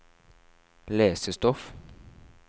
lesestoff